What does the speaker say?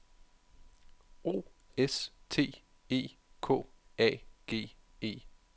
O S T E K A G E